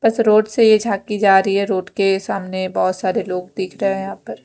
उस रोड से झाकी जा रही है रोड के सामने बोहोत सारे लोग दिख रहे है यहाँ पर --